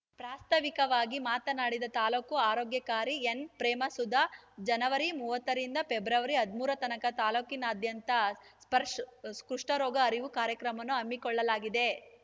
ಪ್ರಾಸ್ತಾವಿಕವಾಗಿ ಮಾತನಾಡಿದ ತಾಲ್ಲೂಕು ಆರೋಗ್ಯಾಕಾರಿ ಎನ್‌ಪ್ರೇಮಸುಧಾ ಜನವರಿ ಮೂವತ್ತ ರಿಂದ ಫೆಬ್ರವರಿ ಹದ್ ಮೂರತನಕ ತಾಲ್ಲೂಕಿನಾದ್ಯಂತ ಸ್ಪಶ್‌ರ್‍ ಕುಷ್ಠರೋಗ ಅರಿವು ಕಾರ್ಯಕ್ರಮವನ್ನು ಹಮ್ಮಿಕೊಳ್ಳಲಾಗಿದೆ